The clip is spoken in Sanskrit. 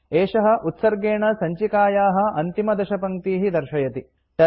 एषः उत्सर्गेण सञ्चिकायाः अन्तिमदशपङ्क्तीः दर्शयति